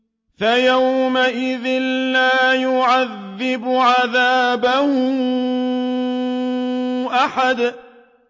فَيَوْمَئِذٍ لَّا يُعَذِّبُ عَذَابَهُ أَحَدٌ